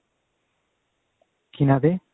ਕਿਨ੍ਹਾ ਦੇ